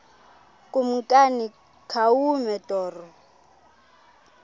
kumkani khawume torho